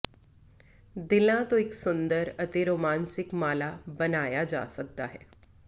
ਦਿਲਾਂ ਤੋਂ ਇੱਕ ਸੁੰਦਰ ਅਤੇ ਰੋਮਾਂਸਿਕ ਮਾਲਾ ਬਣਾਇਆ ਜਾ ਸਕਦਾ ਹੈ